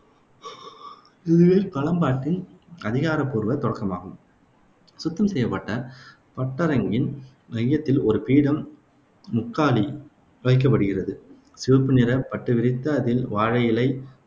இதுவே களம்பாட்டுவின் அதிகாரப்பூர்வ தொடக்கமாகும். சுத்தம் செய்யப்பட்ட பட்டரங்கின் மையத்தில் ஒரு பீடம் முக்காலி வைக்கப்படுகிறது. சிவப்புநிறப் பட்டுவிரித்து அதில் வாழையிலை